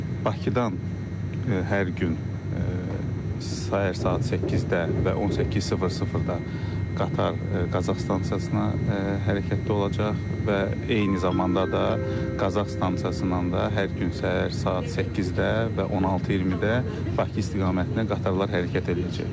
Bakıdan hər gün səhər saat 8-də və 18:00-da qatar Qazax stansiyasına hərəkətdə olacaq və eyni zamanda da Qazax stansiyasından da hər gün səhər saat 8-də və 16:20-də Bakı istiqamətinə qatarlar hərəkət eləyəcək.